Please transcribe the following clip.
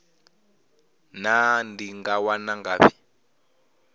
naa ndi nga wana ngafhi